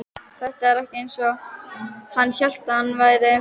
Þetta var ekki eins og hann hélt að það væri.